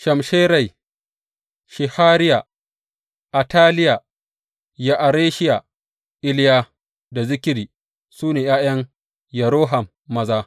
Shamsherai, Shehariya, Ataliya, Ya’areshiya, Iliya da Zikri su ne ’ya’yan Yeroham maza.